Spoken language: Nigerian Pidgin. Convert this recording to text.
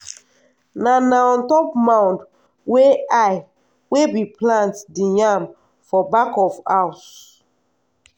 na na on top mound wey high we bi plant the yam for back of house.